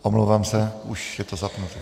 Omlouvám se, už je to zapnuté.